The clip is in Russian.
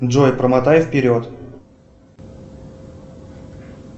джой промотай вперед